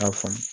A faamu